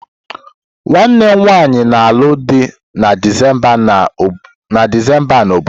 Nwanne m nwanyị na-alụ di na Disemba a na obodo.